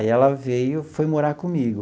Aí ela veio, foi morar comigo.